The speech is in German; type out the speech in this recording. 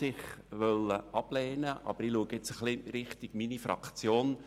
Ich schaue noch einmal in Richtung meiner Fraktion.